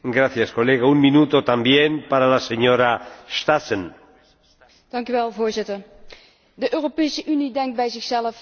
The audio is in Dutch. Voorzitter, de Europese Unie denkt bij zichzelf laten we het midden in de crisis eens over iets anders hebben, namelijk over meer militaire samenwerking.